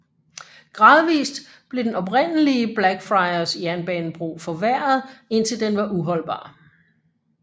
Gradvist blev den oprindelige Blackfriars jernbanebro forværret indtil den var uholdbar